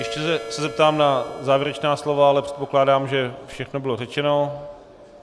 Ještě se zeptám na závěrečná slova, ale předpokládám, že všechno bylo řečeno.